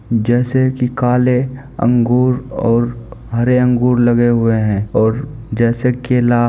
जैसे की काले अंगूर और हरे अंगूर लगे हुए हैं ओर जैसे केला --